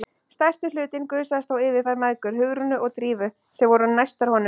Stærsti hlutinn gusaðist þó yfir þær mæðgur, Hugrúnu og Drífu, sem voru næstar honum.